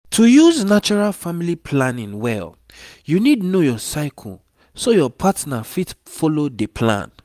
to use natural family planning well you need know your cycle so your partner fit follow dey plan.